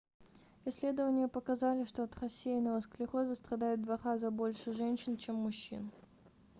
исследования показали что от рассеянного склероза страдает в два раза больше женщин чем мужчин